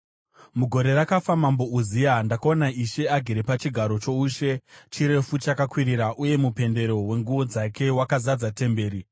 Mugore rakafa Mambo Uziya, ndakaona Ishe agere pachigaro choushe, chirefu chakakwirira uye mupendero wenguo dzake wakazadza temberi.